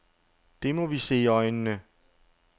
Det må vi se i øjnene.